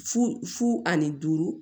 Fu fu ani duuru